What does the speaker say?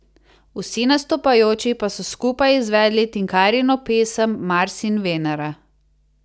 Vsi nastopajoči pa so skupaj izvedli Tinkarino pesem Mars in Venera.